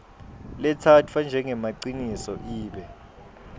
letsatfwa njengemaciniso ibe